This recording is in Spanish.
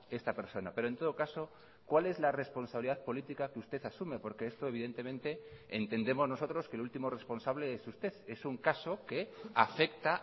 esta persona pero en todo caso cuál es la responsabilidad política que usted asume porque esto evidentemente entendemos nosotros que el último responsable es usted es un caso que afecta